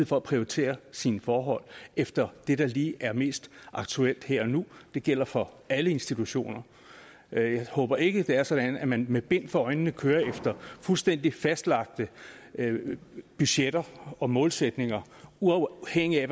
for at prioritere sine forhold efter det der lige er mest aktuelt her og nu det gælder for alle institutioner jeg håber ikke det er sådan at man med bind for øjnene kører efter fuldstændig fastlagte budgetter og målsætninger uafhængigt af